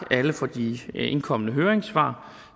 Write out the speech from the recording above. alle for de indkomne høringssvar